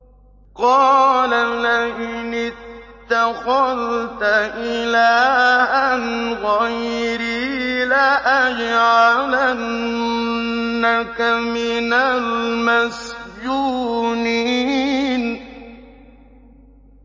قَالَ لَئِنِ اتَّخَذْتَ إِلَٰهًا غَيْرِي لَأَجْعَلَنَّكَ مِنَ الْمَسْجُونِينَ